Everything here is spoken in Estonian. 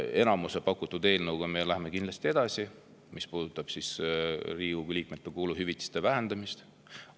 Enamuse pakutud eelnõuga, mis puudutab Riigikogu liikmete kuluhüvitiste vähendamist, me läheme kindlasti edasi.